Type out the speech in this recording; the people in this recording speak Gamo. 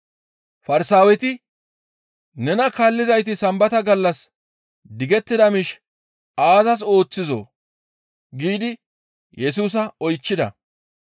Farsaaweti, «Nena kaallizayti Sambata gallas digettida miish aazas ooththizoo?» giidi Yesusa oychchida.